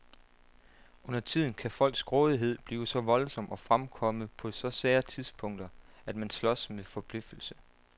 Undertiden kan folks grådighed blive så voldsom og fremkomme på så sære tidspunkter, at man slås med forbløffelse.